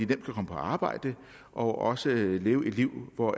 kan komme på arbejde og også leve et liv hvor